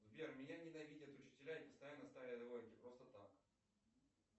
сбер меня ненавидят учителя и постоянно ставят двойки просто так